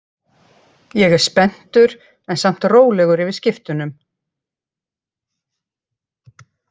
Ég er spenntur en samt rólegur yfir skiptunum.